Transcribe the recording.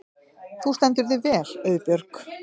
Þú stendur þig vel, Auðbjörg!